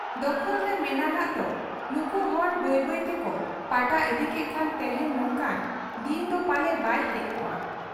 ᱫᱚᱠᱷᱚᱞᱨᱮ ᱢᱮᱱᱟᱜᱟᱜ ᱫᱚ ᱱᱩᱠᱩ ᱦᱚᱲ ᱵᱟᱹᱭ ᱵᱟᱹᱭ ᱛᱮᱠᱚ ᱯᱟᱴᱟ ᱤᱫᱤ ᱠᱮᱠᱷᱟᱱ ᱛᱮᱦᱮᱧ ᱱᱚᱝᱠᱟᱱ ᱫᱤᱱᱫᱚ ᱯᱟᱞᱮ ᱵᱟᱭ ᱦᱮᱡ ᱠᱚᱜ ᱟ ᱾